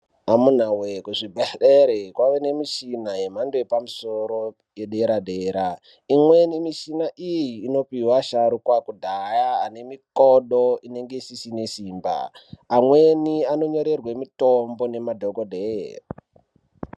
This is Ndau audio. Amunawee kuzvibhehlere kwavane nemishina yemhando yepamusoro yedera dera imweni mishina iyi inopihwa asharukwa kudhaya ane mikodo inenge isisine simba. Amweni anonyorerwe mitombo nemadhokodheye.